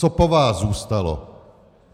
Co po vás zůstalo?